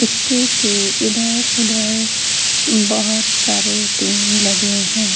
एक्के के इधर-उधर बहोत सारे टिन लगे हैं।